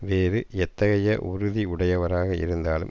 வேறு எத்தகைய உறுதி உடையவராக இருந்தாலும்